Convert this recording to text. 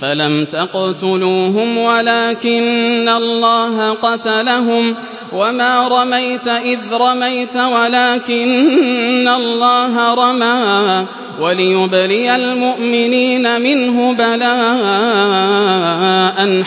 فَلَمْ تَقْتُلُوهُمْ وَلَٰكِنَّ اللَّهَ قَتَلَهُمْ ۚ وَمَا رَمَيْتَ إِذْ رَمَيْتَ وَلَٰكِنَّ اللَّهَ رَمَىٰ ۚ وَلِيُبْلِيَ الْمُؤْمِنِينَ مِنْهُ بَلَاءً